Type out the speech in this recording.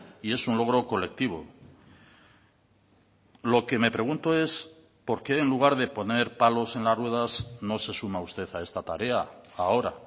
y es un logro colectivo lo que me pregunto es por qué en lugar de poner palos en las ruedas no se suma usted a esta tarea ahora